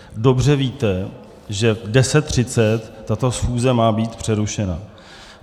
Dobře víte, že v 10.30 tato schůze má být přerušena.